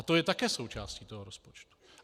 A to je také součástí toho rozpočtu.